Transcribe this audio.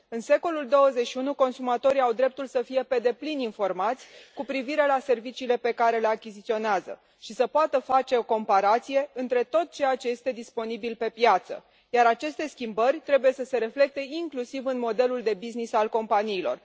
În secolul al XXI lea, consumatorii au dreptul să fie pe deplin informați cu privire la serviciile pe care le achiziționează și să poată face o comparație între tot ceea ce este disponibil pe piață, iar aceste schimbări trebuie să se reflecte inclusiv în modelul de business al companiilor.